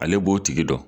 Ale b'o tigi dɔn